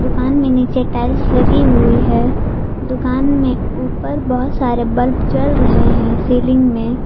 दुकान में नीचे टाइल्स लगी हुई है दुकान में ऊपर बहुत सारे बल्ब जल रहे हैं सीलिंग में।